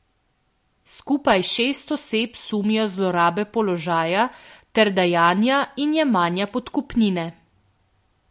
Skupaj šest oseb sumijo zlorabe položaja ter dajanja in jemanja podkupnine.